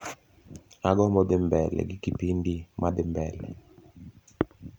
agombo dhi mbele gi kipindi ma dhimbele